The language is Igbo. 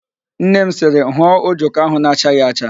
Nne m sịrị, hụọ ojoko ahụ na-achaghị acha!